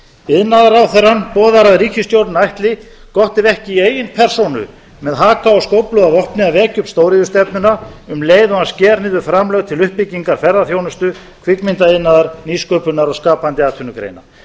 iðnaðarráðherrann boðar að ríkisstjórnin ætli gott ef ekki í eigin persónu með skóflu og haka að vekja upp stóriðjustefnuna um leið og hann sker niður framlög til uppbyggingar ferðaþjónustu kvikmyndaiðnaðar nýsköpunar og skapandi atvinnugreina